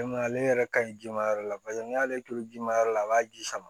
ale yɛrɛ ka ɲi jama yɔrɔ la paseke n'i y'ale toli ji ma yɔrɔ la a b'a ji sama